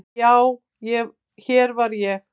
Já, hér var ég.